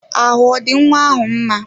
Ahụ ọ dị nwa ahụ mma?